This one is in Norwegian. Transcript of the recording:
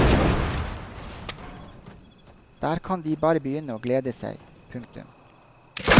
Der kan de bare begynne å glede seg. punktum